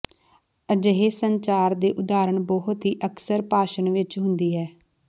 ਅਜਿਹੇ ਸੰਚਾਰ ਦੇ ਉਦਾਹਰਣ ਬਹੁਤ ਹੀ ਅਕਸਰ ਭਾਸ਼ਣ ਵਿੱਚ ਹੁੰਦੀ ਹੈ